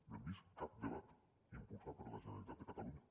no hem vist cap debat impulsat per la generalitat de catalunya